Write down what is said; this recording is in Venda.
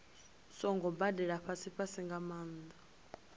songo gobelela fhasifhasi nga maanḓa